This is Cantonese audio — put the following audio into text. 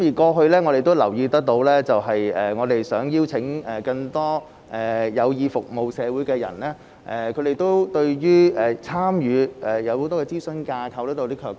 過去我們也留意到，我們想邀請更多有意服務社會的人士加入時，他們對於參與諮詢架構會有些卻步。